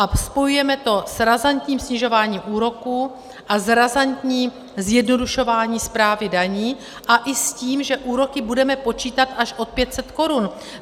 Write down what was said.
A spojujeme to s razantním snižováním úroků a s razantním zjednodušováním správy daní a i s tím, že úroky budeme počítat až od 500 korun.